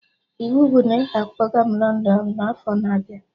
Iwu bụ na ị ga-akpọga m London n'afọ na abịa